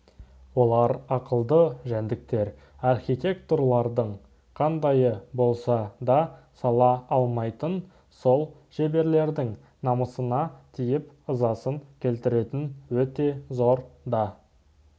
олар ақылды жәндіктер архитекторлардың қандайы болса да сала алмайтын сол шеберлердің намысына тиіп ызасын келтіретін өте зор да